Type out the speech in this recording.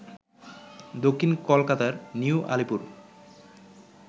দক্ষিণ কলকাতার নিউ আলিপুর